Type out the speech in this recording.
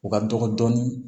U ka dɔgɔ dɔɔnin